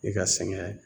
I ka sɛgɛn